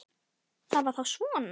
Það var þá svona.